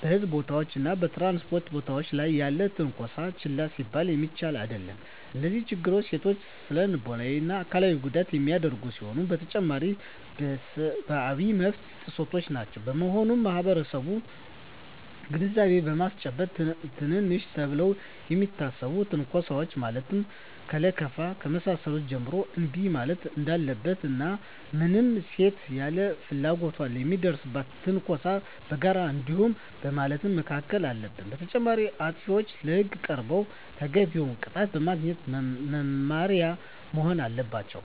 በሕዝብ ቦታዎች እና በ ትራንስፖርት ቦታወች ላይ ያለም ትነኮሳ ችላ ሊባል የሚችል አደለም። እነዚህ ችግሮች ሴቶችን ለስነልቦና እና አካላዊ ጉዳት የሚዳርጉ ሲሆኑ በተጨማሪም የሰብአዊ መብት ጥሰቶችም ናቸው። በመሆኑም ማህበረሰቡን ግንዛቤ በማስጨበጥ ትንንሽ ተብለው ከሚታሰቡ ትንኮሳወች ማለትም ከለከፋ ከመሳሰሉት ጀምሮ እንቢ ማለት እንዳለበት እና ማንም ሴት ያለ ፍላጎቷ ለሚደርስባት ትንኮሳ በጋራ አይሆንም በማለት መከላከል አለበት። በተጨማሪም አጥፊዎች ለህግ ቀርበው ተገቢውን ቅጣት በማግኘት መማሪያ መሆን አለባቸው።